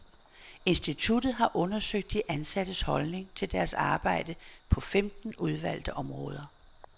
Instituttet har undersøgt de ansattes holdning til deres arbejde på femten udvalgte områder.